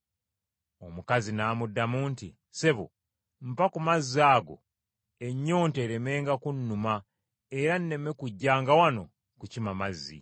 Omukazi n’amugamba nti, “Ssebo, mpa ku mazzi ago, ennyonta eremenga kunnuma era nneme kujjanga wano kukima mazzi.”